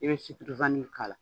I bɛ k'a la.